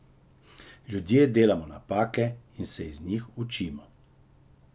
Ljudje delamo napake in se iz njih učimo.